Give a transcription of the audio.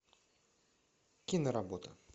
киноработа